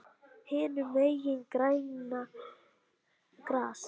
Hinum megin grænna gras.